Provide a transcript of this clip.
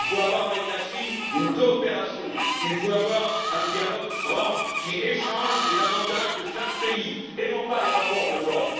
Il faut avoir avec la Chine une coopération, un dialogue franc qui confronte les avantages de chaque pays et non pas les rapports de force.